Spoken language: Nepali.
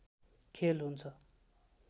खेल हुन्छ